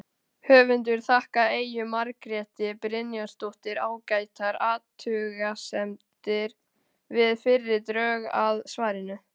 Höfundur þakkar Eyju Margréti Brynjarsdóttur ágætar athugasemdir við fyrri drög að svarinu.